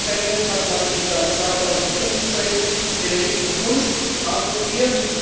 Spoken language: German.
Im Gefängnis hat man ihm dann 2015 den linken Fuß amputiert.